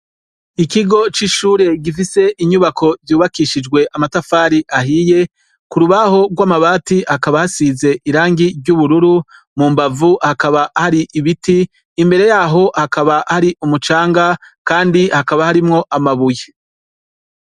Ikigo c’ishure gifise inyubako zubakishijwe amatafari ahiye, kurubaho gw’amabati hakaba hasize irangi ry’ubururu, mumbavu hakaba hari ibiti, imbere yaho hakaba hari umucamga Kandi hakaba harimwo amabuye.